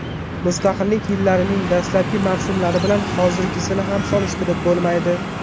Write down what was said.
Mustaqillik yillarining dastlabki mavsumlari bilan hozirgisini ham solishtirib bo‘lmaydi.